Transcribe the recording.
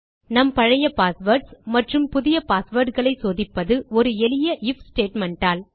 நம் பழைய பாஸ்வேர்ட்ஸ் மற்றும் புதிய பாஸ்வேர்ட் களை சோதிப்பது ஒரு எளிய ஐஎஃப் ஸ்டேட்மெண்ட் ஆல்